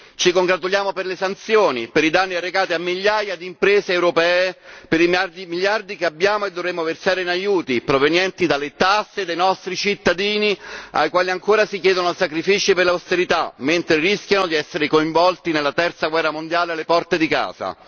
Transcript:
Ci congratuliamo per le sanzioni, per i danni arrecati a migliaia di imprese europee, per i miliardi che abbiamo e dovremmo versare in aiuti provenienti dalle tasse dei nostri cittadini ai quali ancora si chiedono sacrifici per l'austerità mentre rischiano di essere coinvolti nella Terza guerra mondiale alle porte di casa.